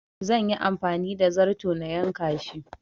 Zan yi amfani da zarto na yanka shi